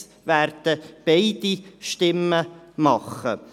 Von uns werden beide Stimmen erhalten.